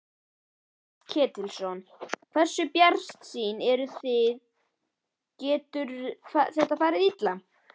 Páll Ketilsson: Hversu bjartsýn eruð þið, getur þetta farið illa?